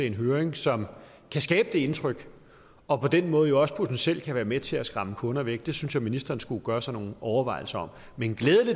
en høring som kan skabe det indtryk og på den måde jo også potentielt kan være med til at skræmme kunder væk det synes jeg ministeren skulle gøre sig nogle overvejelser om men